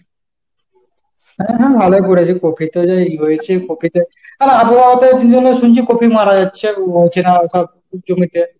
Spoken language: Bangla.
হ্যাঁ হ্যাঁ ভালোই করেছিস, কপিতে যে ইয়ে হয়েছে কপিতে আর আবহাওয়াতে কি যেনো শুনছি কপি মারা যাচ্ছে হচ্ছে না সব জমিতে।